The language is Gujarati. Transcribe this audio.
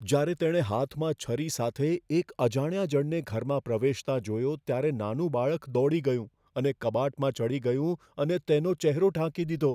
જ્યારે તેણે હાથમાં છરી સાથે એક અજાણ્યા જણને ઘરમાં પ્રવેશતા જોયો ત્યારે નાનું બાળક દોડી ગયું અને કબાટમાં ચડી ગયું અને તેનો ચહેરો ઢાંકી દીધો